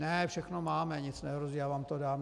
Ne, všechno máme, nic nehrozí, já vám to dám.